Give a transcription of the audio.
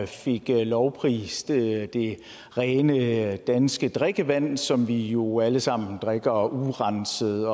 fik lovprist det rene danske drikkevand som vi jo alle sammen drikker urenset